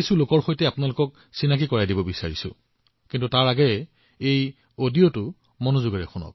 আজিও মই আপোনাক এনে কিছুমান লোকৰ সৈতে পৰিচয় কৰাই দিম কিন্তু তাৰ আগতে মই আপোনাক এটা